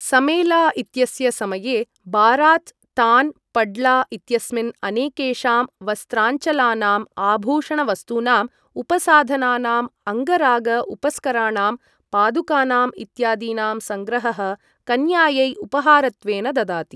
समेला इत्यस्य समये बारात् तान् पड्ला इत्यस्मिन् अनेकेषां वस्त्राञ्चलानाम्, आभूषणवस्तूनाम्, उपसाधनानाम्, अङ्गराग उपस्कराणां, पादुकानाम् इत्यादीनां सङ्ग्रहः कन्यायै उपहारत्वेन ददाति।